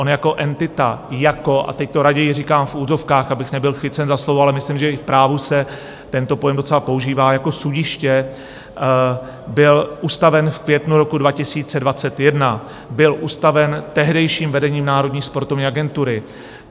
On jako entita, jako, a teď to raději říkám v uvozovkách, abych nebyl chycen za slovo, ale myslím, že i v právu se tento pojem docela používá, jako sudiště byl ustaven v květnu roku 2021, byl ustaven tehdejším vedením Národní sportovní agentury.